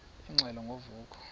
ingxelo ngo vuko